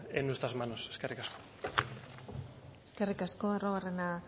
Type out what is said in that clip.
en nuestras manos eskerrik asko eskerrik asko arruabarrena